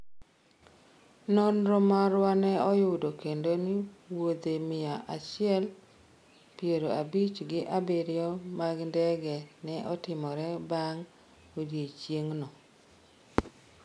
nonro marwane oyudo kendo ni wuodhe mia achiel piero abich gi abiriyo mag ndege ne otimore bang' odiochieng'no